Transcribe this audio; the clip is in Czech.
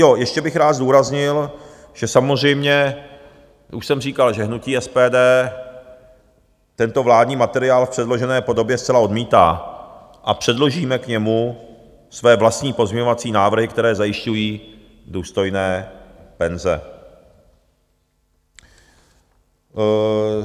Jo, ještě bych rád zdůraznil, že samozřejmě už jsem říkal, že hnutí SPD tento vládní materiál v předložené podobě zcela odmítá a předložíme k němu své vlastní pozměňovací návrhy, které zajišťují důstojné penze.